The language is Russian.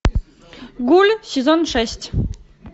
гуль сезон шесть